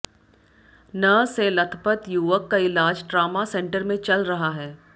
न से लथपथ युवक का इलाज ट्रामा सेंटर में चल रहा है